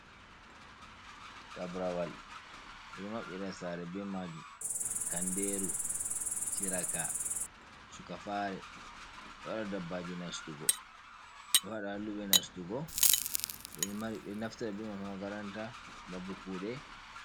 Tabrawal bedo mabbira sare be majum. kanderu, shiraka, suka fare, dohada dabbaji nastugo. do hada hallube nastugo. ɓeɗo naftiraa be mai ha makaranta mabbe kude.